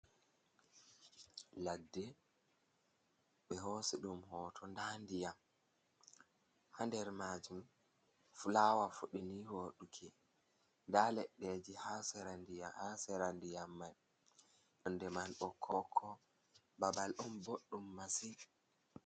Ladde, ɓe hoosi ɗum hoto. Nda ndiƴam haa nder maajum, fulawa fuɗi nii wooɗuki, nda leɗɗe ji haa sera ndiƴam mai, donde mai bokko-bokko. Babal on boɗɗum masi.